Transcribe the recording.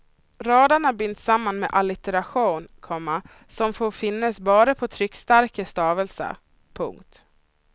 Raderna binds samman med allitteration, komma som får finnas bara på tryckstarka stavelser. punkt